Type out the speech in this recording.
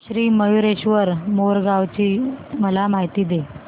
श्री मयूरेश्वर मोरगाव ची मला माहिती दे